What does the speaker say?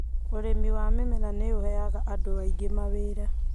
Ũrĩmi wa mĩmera nĩ ũheaga andũ aingĩ mawĩra.